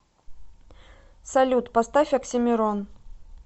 салют поставь оксимирон